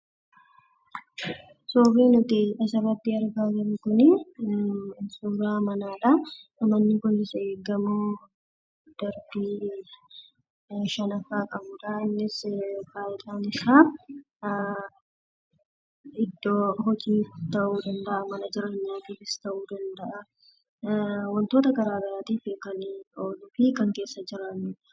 Suurri nuti asirratti argaa jirru kun suuraa manaadha. Manni kunis gamoo darbii shan qabudha. Innis faayidaan isaa iddoo hojii ta'uu danda'a yookiin mana jireenyaa ta'uu danda'a. Wantoota garagaraaf kan ooluu fi kan keessa jiraannuudha